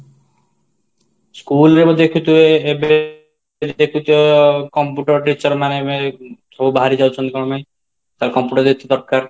school ରେ ଦେଖିଥିବୁ ଏବେ ଦେଖୁଛ computer teacher ନାହିଁ ସବୁ ବାହାରି ଯାଉଛନ୍ତି କ'ଣ ପାଇଁ ତାହାଲେ computer ଯେହେତୁ ଦରକାର